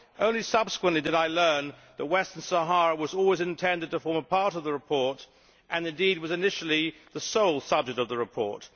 Only subsequently did I learn that Western Sahara was always intended to form a part of the report and, indeed, was initially the sole subject of the report.